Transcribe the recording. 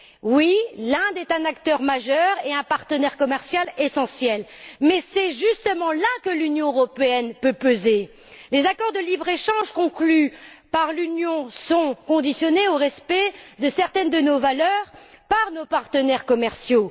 Oui, l'Inde est un acteur majeur et un partenaire commercial essentiel mais c'est justement là que l'Union européenne peut peser. Les accords de libre échange conclus par l'Union sont subordonnés au respect de certaines de nos valeurs par nos partenaires commerciaux.